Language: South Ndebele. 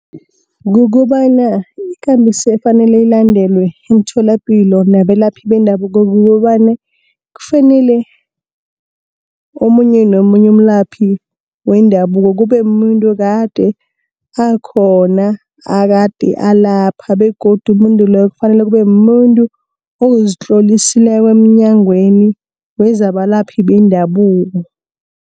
Kukobana ikambiso efanele ilandelwe emtholapilo nabelaphi bendabuko kukobana kufanele, omunye nomunye umlaphi wendabuko kube mumuntu okade akhona, okade alapha begodu umuntu loyo kufanele kube mumuntu ozitlolisileko emnyangweni wezabalaphi bendabuko.